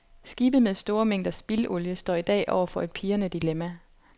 Skibe med store mængder spildolie står i dag over for et pirrende dilemma.